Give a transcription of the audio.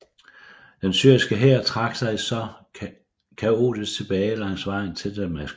Den syriske hær trak sig så kaotisk tilbage langs vejen til Damaskus